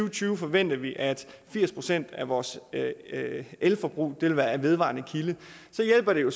og tyve forventer vi at firs procent af vores elforbrug vil være fra en vedvarende kilde så hjælper det jo